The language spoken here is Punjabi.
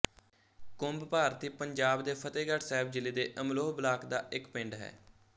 ਕੁੰਭ ਭਾਰਤੀ ਪੰਜਾਬ ਦੇ ਫ਼ਤਹਿਗੜ੍ਹ ਸਾਹਿਬ ਜ਼ਿਲ੍ਹੇ ਦੇ ਅਮਲੋਹ ਬਲਾਕ ਦਾ ਇੱਕ ਪਿੰਡ ਹੈ